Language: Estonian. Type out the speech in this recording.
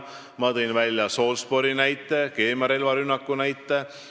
Ma tõin välja ka Salisbury, keemiarelvarünnaku näite.